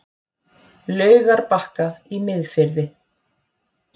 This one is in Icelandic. Laugarbakka í Miðfirði.